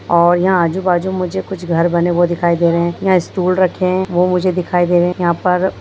और यहाँ आजु-बाजू में मुझे कुछ घर बने वो दिखाई दे रहे है यहाँ स्टूल रखे हैं वो मुझे दिखाई दे रहे हैं यहाँ पर --